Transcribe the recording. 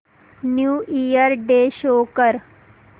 new year day show कर